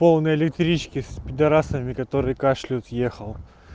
полной электрички с пидорасами которые кашляют ехал